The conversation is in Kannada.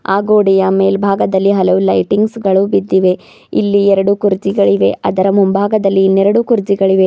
ಆ ಗೋಡೆಯ ಮೇಲ್ಭಾಗದಲ್ಲಿ ಹಲವು ಲೈಟಿಂಗ್ಸ್ ಗಳು ಬಿದ್ದಿವೆ ಇಲ್ಲಿ ಎರಡು ಕುರ್ಚಿಗಳು ಇವೆ ಅದರ ಮುಂಭಾಗದಲ್ಲಿ ಇನ್ನೆರಡು ಕುರ್ಚಿಗಳು ಇವೆ.